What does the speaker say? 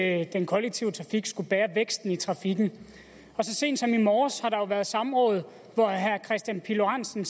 at den kollektive trafik skal bære væksten i trafikken så sent som i morges har der jo været samråd hvor herre kristian pihl lorentzen